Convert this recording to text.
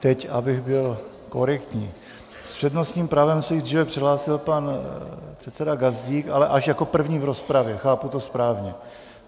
Teď, abych byl korektní - s přednostním právem se již dříve přihlásil pan předseda Gazdík, ale až jako první v rozpravě, chápu to správně?